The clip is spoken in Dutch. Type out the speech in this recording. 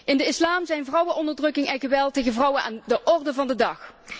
In de Islam zijn vrouwenonderdrukking en geweld tegen vrouwen aan de orde van de dag.